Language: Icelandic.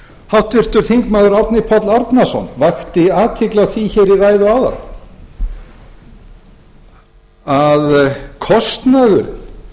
háttvirtur þingmaður árni páll árnason vakti athygli á því hér í ræðu áðan að kostnaður